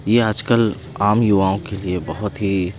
ये आज कल आम युवाओं के लिए बहोत ही--